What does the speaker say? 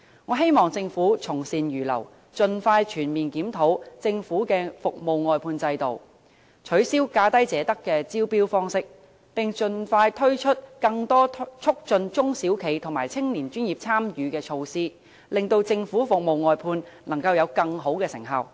我希望政府從善如流，盡快全面檢討政府的服務外判制度，取消"價低者得"的招標方式，並盡快推出更多促進中小企及年青專業人士參與的措施，令政府服務外判能夠有更好的成效。